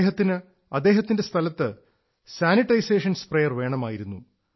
അദ്ദേഹത്തിന് അദ്ദേഹത്തിന്റെ സ്ഥലത്ത് സാനിട്ടൈസേഷന് സ്പ്രേയർ വേണമായിരുന്നു